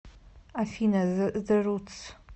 афина зе рутс